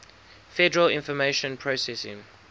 federal information processing